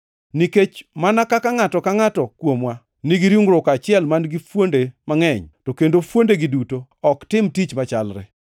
Nikech mana kaka ngʼato ka ngʼato kuomwa nigi ringruok achiel man-gi fuonde mangʼeny, to kendo fuondegi duto ok tim tich machalre,